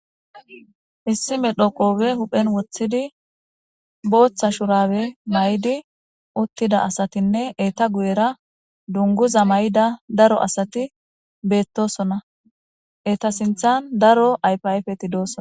Issi medhoqoobe huphen woththidi booththa shurabe may'di uttida asatinne eeta guyera dunguza may'ida daro asati beettosona eta sinthan daro ayfayfeti dooson.